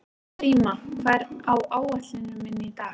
Gríma, hvað er á áætluninni minni í dag?